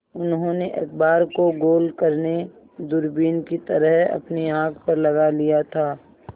उन्होंने अखबार को गोल करने दूरबीन की तरह अपनी आँख पर लगा लिया था